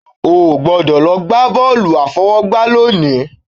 O ò gbọ́dọ̀ lọ gbá bọ́ọ̀lù àfọwọ́gbá lónìí